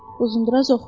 Uzundraz oxudu.